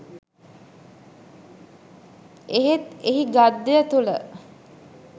එහෙත් එහි ගද්‍ය තුළ